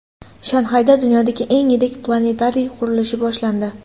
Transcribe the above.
Shanxayda dunyodagi eng yirik planetariy qurilishi boshlandi.